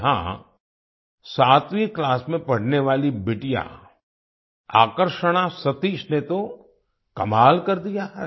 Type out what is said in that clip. यहाँ सातवीं क्लास में पढ़ने वाली बिटिया आकर्षणा सतीश ने तो कमाल कर दिया है